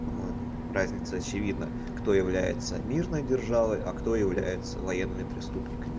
по-моему разница очевидна кто является мирной державой а кто является военными преступниками